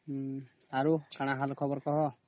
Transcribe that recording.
ହଁ ଆଉ କଣ ଖବର କହ